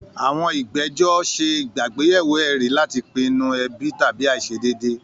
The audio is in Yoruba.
Àwọn ìgbẹ́jọ́ ṣe àgbéyẹ̀wò ẹ̀rí láti pinnu ẹ̀bi tàbí àìṣedéédé.